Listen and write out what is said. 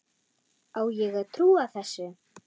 Á ég að trúa þessu?